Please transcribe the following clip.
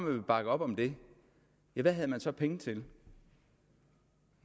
ville bakke op om det hvad havde man så penge til ja